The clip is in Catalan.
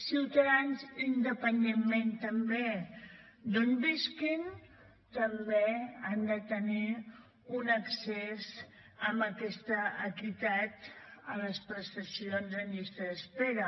ciutadans independentment també d’on visquin també han de tenir un accés amb aquesta equitat a les prestacions en llista d’espera